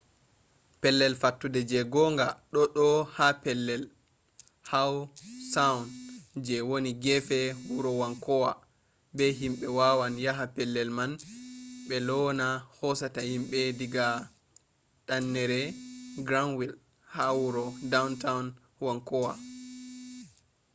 pellel fattude je gonga ɗo ɗo ha pellel how saund je wani gefe wuro wankuwa bo himɓe wawan yaha pellel man be laana hosata himɓe diga danneere granwil ha wuro dawntawn wankuwa